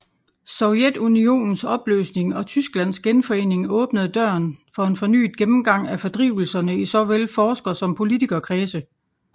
Sovjetunionens opløsning og Tysklands genforening åbnede døren for en fornyet gennemgang af fordrivelserne i såvel forsker som politikerkredse